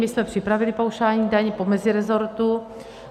My jsme připravili paušální daň po mezirezortu.